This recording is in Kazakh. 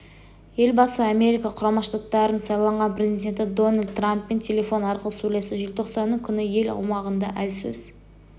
елбасы америка құрама штаттарының сайланған президенті дональд трамппен телефон арқылы сөйлесті желтоқсанның күні ел аумағында әлсіз